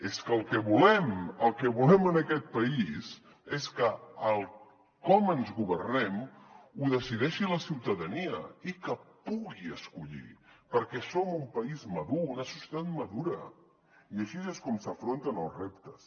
és que el que volem el que volem en aquest país és que el com ens governem ho decideixi la ciutadania i que pugui escollir perquè som un país madur una societat madura i així és com s’afronten els reptes